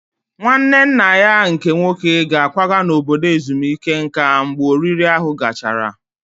Nwanne nna ya nke nwoke ga-akwaga n'obodo ezumike nka mgbe oriri ahụ gachara